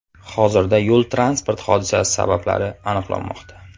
Hozirda yo‘l-transport hodisasi sabablari aniqlanmoqda.